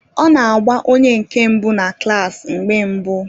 Ọ na-agba onye nke mbụ na klaasi mgbe mbụ